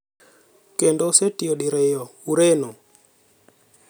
Kendo osetiyo diriyo Ureno.